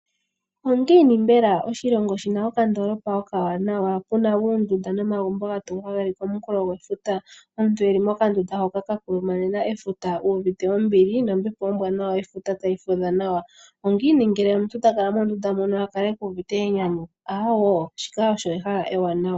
Ongiini mbela oshilongo shina okandoolopa okawanawa, puna oondunda nomagumbo ga tungwa geli komunkulo gwefuta. Aantu yeli mokandunda hoka ka kulumanena efuta uvite ombili nombepo ombwanawa yefuta tayi fudha nawa. Ongiini ngele omuntu ta kala monduna mono ta kala ku uvite enyanyu, Aawo shika osho ehala ewanawa.